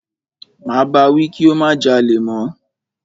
Máa bá wí kí ó má jalè mọ́.